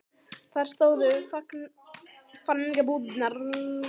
Þar stóðu fangabúðirnar undir slútandi fjöllum.